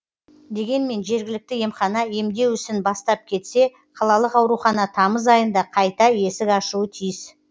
дегенмен жергілікті емхана емдеу ісін бастап кетсе қалалық аурухана тамыз айында қайта есік ашуы тиіс